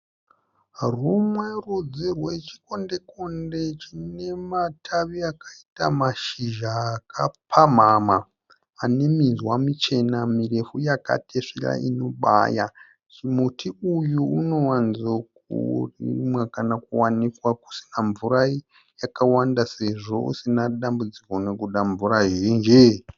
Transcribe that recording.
Rumwe rudzi rwechikondekonde chine matavi akaita mashizha akapamhama ane minzwa michena mirefu yakatesvera inobaya. Chimuti uyu unowanzokurimwa kana kuwanikwa kusina mvura yakawanda sezvo usina dambudziko nokuda mvura zhinji.